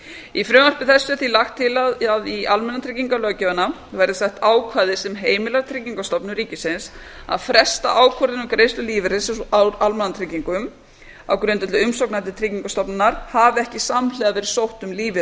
í frumvarpi þessu er því lagt til að í almannatryggingalöggjöfina verði sett ákvæði sem heimila tryggingastofnun ríkisins að fresta ákvörðun um greiðslu lífeyris úr almannatryggingum á grundvelli umsókna til tryggingastofnunar hafi ekki samhliða verið sótt um lífeyri